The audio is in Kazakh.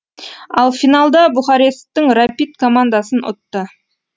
ал финалда бухаресттің рапид командасын ұтты